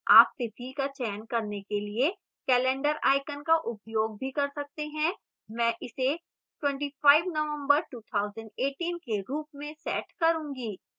आप तिथि का चयन करने के लिए calendar icon का उपयोग भी कर सकते हैं मैं इसे 25 nov 2018 के रूप में set करूंगी